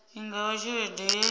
i nga vha tshelede ye